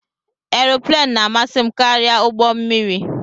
Aeroplane na-amasị m karịa ụgbọ mmiri